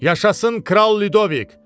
Yaşasın Kral Lyudovik!